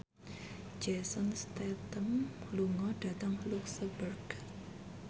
Jason Statham lunga dhateng luxemburg